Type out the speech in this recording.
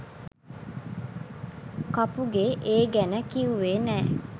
කපුගේ ඒ ගැන කිව්වෙ නෑ